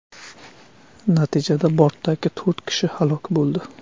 Natijada bortdagi to‘rt kishi halok bo‘ldi.